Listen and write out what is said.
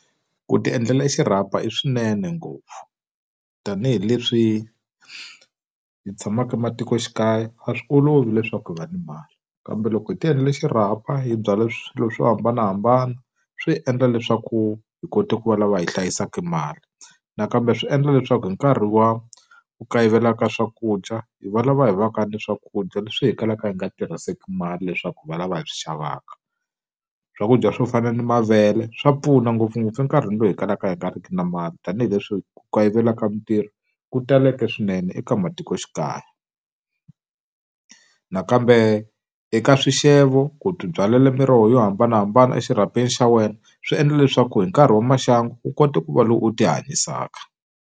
Ku ti endlela xirhapa i swinene ngopfu. Tanihi leswi hi tshamaka ematikoxikaya a swi olovi leswaku hi va ni mali. Kambe loko hi ti endlela xirhapa hi byala swilo swo hambanahambana swi hi endla leswaku hi kota ku va lava hi hlayisaka mali. Nakambe swi endla leswaku hi nkarhi wa ku kayivela ka swakudya, hi va lava hi va ka ni swakudya leswi hi kalaka hi nga tirhiseki mali leswaku hi va lava hi swi xavaka. Swakudya swo fana ni mavele, swa pfuna ngopfungopfu enkarhini lowu hi kalaka hi nga riki na mali, tanihileswi ku kayivelaka mitirho ku taleke swinene eka matikoxikaya nakambe eka swixevo ku ti byalela miroho yo hambanahambana exirhapeni xa wena, swi endla leswaku hi nkarhi wa maxangu u kota ku va loyi u tihanyisaka.